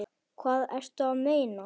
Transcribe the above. Hvað ertu að meina?